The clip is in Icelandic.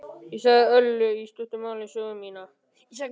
Ég sagði Öllu í stuttu máli sögu mína.